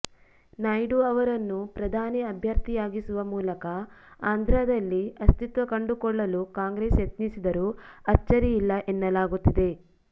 ನಾಯ್ಡು ಅವರನ್ನು ಪ್ರಧಾನಿ ಅಭ್ಯರ್ಥಿಯಾಗಿಸುವ ಮೂಲಕ ಆಂಧ್ರದಲ್ಲಿ ಅಸ್ತಿತ್ವ ಕಂಡುಕೊಳ್ಳಲು ಕಾಂಗ್ರೆಸ್ ಯತ್ನಿಸಿದರೂ ಅಚ್ಚರಿಯಿಲ್ಲ ಎನ್ನಲಾಗುತ್ತಿದೆ